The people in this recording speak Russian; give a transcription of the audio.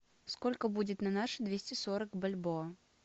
сколько будет на наши двести сорок бальбоа